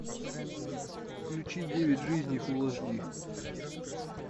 включи девять жизней фулл эйч ди